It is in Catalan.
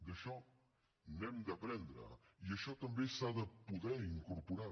d’això n’hem d’aprendre i això també s’ha de poder incorporar